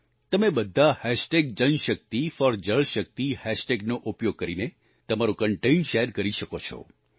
તમે બધા JanShakti4JalShakti હેશટેગનો ઉપયોગ કરીને તમારું કન્ટેન્ટ શેર કરી શકો છો